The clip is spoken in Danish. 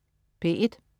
P1: